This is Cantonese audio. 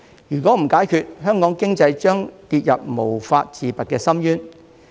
如果不解決，香港經濟將跌入無法自拔的深淵。